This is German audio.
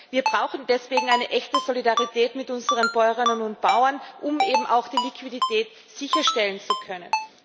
Wir brauchen deswegen eine echte Solidarität mit unseren Bäuerinnen und Bauern, um eben auch die Liquidität sicherstellen zu können.